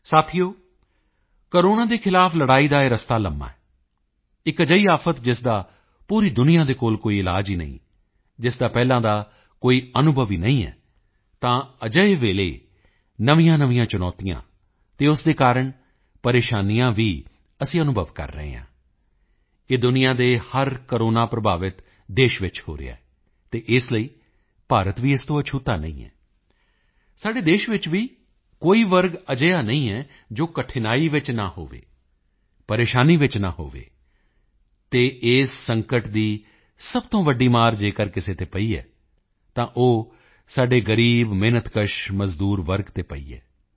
ਸਾਥੀਓ ਕੋਰੋਨਾ ਦੇ ਖ਼ਿਲਾਫ਼ ਲੜਾਈ ਦਾ ਇਹ ਰਸਤਾ ਲੰਮਾ ਹੈ ਇੱਕ ਅਜਿਹੀ ਆਫ਼ਤ ਜਿਸ ਦਾ ਪੂਰੀ ਦੁਨੀਆ ਦੇ ਕੋਲ ਕੋਈ ਇਲਾਜ ਹੀ ਨਹੀਂ ਜਿਸਦਾ ਕੋਈ ਪਹਿਲਾਂ ਦਾ ਅਨੁਭਵ ਹੀ ਨਹੀਂ ਹੈ ਤਾਂ ਅਜਿਹੇ ਵਿੱਚ ਨਵੀਆਂਨਵੀਆਂ ਚੁਣੌਤੀਆਂ ਅਤੇ ਉਸ ਦੇ ਕਾਰਣ ਪਰੇਸ਼ਾਨੀਆਂ ਵੀ ਅਸੀਂ ਅਨੁਭਵ ਕਰ ਰਹੇ ਹਾਂ ਇਹ ਦੁਨੀਆ ਦੇ ਹਰ ਕੋਰੋਨਾ ਪ੍ਰਭਾਵਿਤ ਦੇਸ਼ ਵਿੱਚ ਹੋ ਰਿਹਾ ਹੈ ਅਤੇ ਇਸ ਲਈ ਭਾਰਤ ਵੀ ਇਸ ਤੋਂ ਅਛੂਤਾ ਨਹੀਂ ਹੈ ਸਾਡੇ ਦੇਸ਼ ਵਿੱਚ ਵੀ ਕੋਈ ਵਰਗ ਅਜਿਹਾ ਨਹੀਂ ਹੈ ਜੋ ਕਠਿਨਾਈ ਵਿੱਚ ਨਾ ਹੋਵੇ ਪਰੇਸ਼ਾਨੀ ਵਿੱਚ ਨਾ ਹੋਵੇ ਅਤੇ ਇਸ ਸੰਕਟ ਦੀ ਸਭ ਤੋਂ ਵੱਡੀ ਚੋਟ ਅਗਰ ਕਿਸੇ ਤੇ ਪਈ ਹੈ ਤਾਂ ਉਹ ਸਾਡੇ ਗ਼ਰੀਬ ਮਿਹਨਤਕਸ਼ ਮਜ਼ਦੂਰ ਵਰਗ ਤੇ ਪਈ ਹੈ